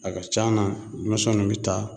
A ka ca nan dumusɛnnuw bi taa